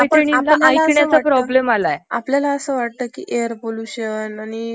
अ आहेत बुआ , नाही स्पॉउंड पोल्युशन आपल्याला वाटत नाही जितकं सिरीयस नाहीये